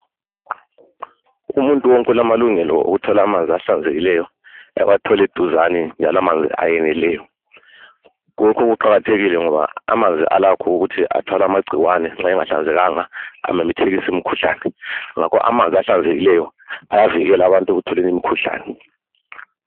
Umuntu wonke ulamalungelo okuthola amanzi ahlanzekileyo, awathole duzane njalo amanzi ayeneleyo .Lokhu kuqakathekile ngoba amanzi alakho ukuthi athwale amagcikwane nxa engahlanzekanga amemethekise imikhuhlane ngakho amanzi ahlanzekileyo ayavikela abantu ukuthi bathole imkhuhlane .